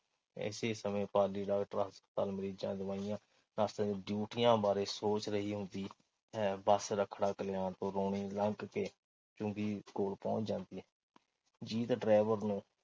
ਇਸੇ ਸਮੇਂ ਪਾਲੀ ਡਾਕਟਰ ਹਸਪਤਾਲ, ਮਰੀਜ਼ਾਂ, ਦਵਾਈਆਂ, ਡਿਊਟੀਆਂ ਬਾਰੇ ਸੋਚ ਰਹੀ ਹੁੰਦੀ ਹੈ। ਬੱਸ ਰੱਖਣਾ-ਕਲਿਆਣ ਤੋਂ ਰੌਣੀ ਲੰਘ ਕੇ ਚੁੰਗੀ ਕੋਲ ਪਹੁੰਚ ਜਾਂਦੀ ਹੈ। ਜੀਤ ਡਰਾਇਵਰ ਨੂੰ